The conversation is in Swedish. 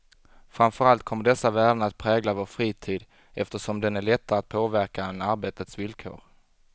Framför allt kommer dessa värden att prägla vår fritid, eftersom den är lättare att påverka än arbetets villkor.